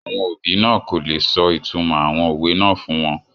Àwọn òbí náà kò le sọ ìtúmọ̀ àwọn òwe náà fún wọn